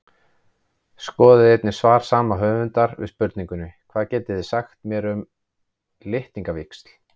Skoðið einnig svar sama höfundar við spurningunni Hvað getið þið sagt mér um litningavíxl?